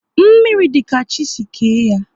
Mmiri dị ka chi si kee ya